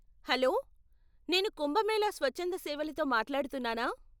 Hello, నేను కుంభమేళా స్వచ్ఛంద సేవలతో మాట్లాడుతున్నానా?